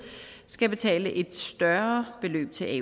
skal betale et større beløb til